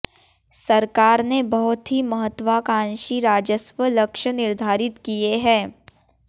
सरकार ने बहुत ही महत्त्वाकांक्षी राजस्व लक्ष्य निर्धारित किए हैं